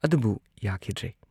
ꯑꯗꯨꯕꯨ ꯌꯥꯈꯤꯗ꯭ꯔꯦ ꯫